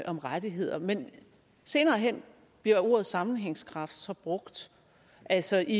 om rettigheder men senere hen bliver ordet sammenhængskraft så brugt altså i